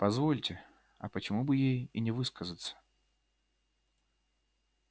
позвольте а почему бы ей и не высказаться